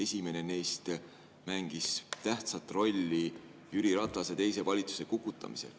Esimene neist mängis tähtsat rolli Jüri Ratase teise valitsuse kukutamisel.